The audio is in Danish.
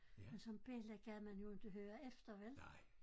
Men som belli gad man jo inte høre efter vel?